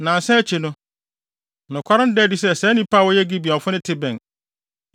Nnansa akyi no, nokware no daa adi sɛ saa nnipa a wɔyɛ Gibeonfo no te bɛn.